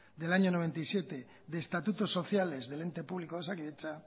barra mil novecientos noventa y siete de estatutos sociales del ente público de osakidetza